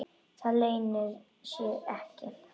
Það leynir sér ekki.